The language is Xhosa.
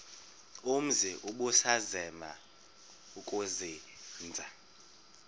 umzi ubusazema ukuzinza